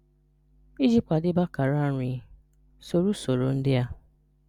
Ị́jị kwàdèbé àkàrà nri, sorò ụ̀sọ̀rò ndị́ a